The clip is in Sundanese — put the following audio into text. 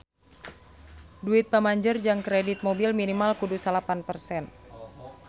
Duit pamanjer jang kredit mobil minimal kudu salapan persen